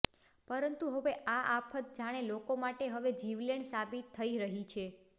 પરંતુ હવે આ આફત જાણે લોકો માટે હવે જીવલેણ સાબિત થઈ રહી છે